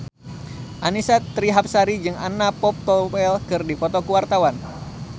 Annisa Trihapsari jeung Anna Popplewell keur dipoto ku wartawan